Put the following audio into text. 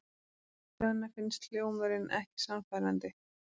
Svenna finnst hljómurinn ekki sannfærandi.